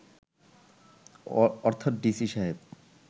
অর্থাৎ ডিসি সাহেব